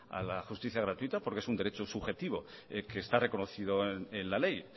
a la justicia gratuita porque es un derecho subjetivo que está reconocido en la ley